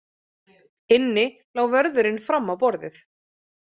Inni lá vörðurinn fram á borðið.